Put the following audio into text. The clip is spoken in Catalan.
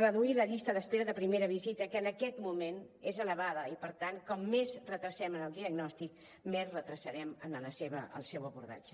reduir la llista d’espera de primera visita que en aquest moment és elevada i per tant com més retardem el diagnòstic més retardarem el seu abordatge